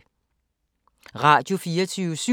Radio24syv